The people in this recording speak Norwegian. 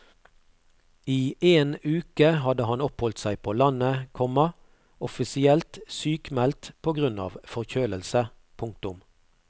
I en uke hadde han oppholdt seg på landet, komma offisielt sykmeldt på grunn av forkjølelse. punktum